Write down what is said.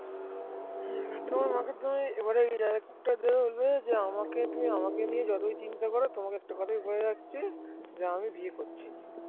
তোমার মাকে তুমি একটা কথা বলবে যে তুমি আমাকে নিয়ে যতই চিন্তা কর তোমাকে একটা কথাই বলে রাখছি যে আমি বিয়ে বিয়ে করছি নি